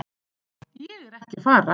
Ég er ekki að fara.